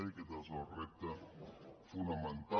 i aquest és el repte fonamental